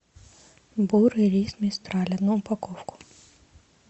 бурый рис мистраль одну упаковку